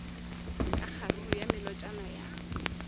ka kgaruru ya melotšana ya